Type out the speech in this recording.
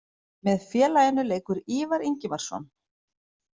Með félaginu leikur Ívar Ingimarsson.